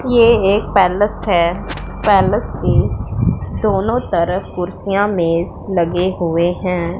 ये एक पैलेस है पैलेस के दोनों तरफ कुर्सियां मेज लगे हुए हैं।